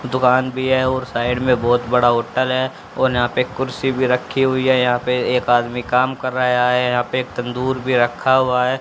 दुकान भी है और साइड में बहोत बड़ा होटल है और यहां पे कुर्सी भी रखी हुई है। यहां पे एक आदमी कम कर रहा है। यहां पे एक तंदूर भी रखा हुआ है।